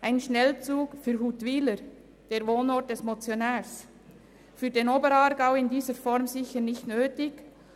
Ein Schnellzug für Huttwiler, den Wohnort des Motionärs, ist für den Oberaargau in dieser Form sicher nicht nötig.